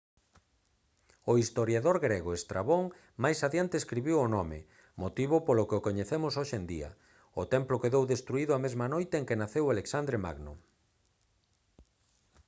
o historiador grego estrabón máis adiante escribiu o nome motivo polo que o coñecemos hoxe en día o templo quedou destruído a mesma noite en que naceu alexandre magno